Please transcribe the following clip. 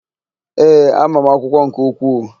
Ee, ama m akwụkwọ nke ukwuu.